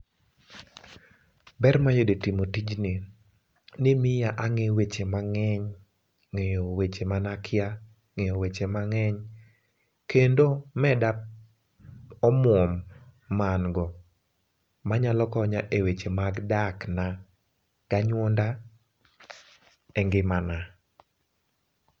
Ber mayudo e timo tijni ni miya angeyo weche mang'eny, ng'eyo weche mane akia, ngeyo wche mang'eny kendo meda omuom ma an go manyalo konya e weche mag dak na gi anyuonda e ngimana